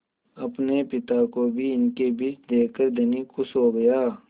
अपने पिता को भी इनके बीच देखकर धनी खुश हो गया